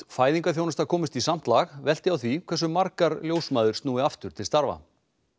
fæðingarþjónusta komist í samt lag velti á því hversu margar ljósmæður snúi aftur til starfa